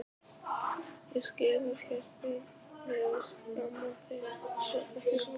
Ég skil ekkert í mér að skamma þig ekki svolítið.